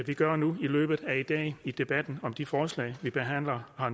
vi gør nu i debatten om de forslag vi behandler her